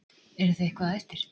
Eruð þið eitthvað á eftir?